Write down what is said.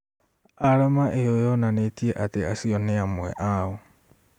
Arama ĩyo yonanĩtie atĩ acio nĩ amwe ao